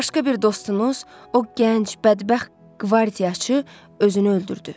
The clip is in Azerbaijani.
Başqa bir dostunuz, o gənc bədbəxt qvardiyaçı özünü öldürdü.